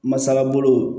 Masalabolo